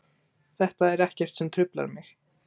Þetta er ekkert sem truflar mig.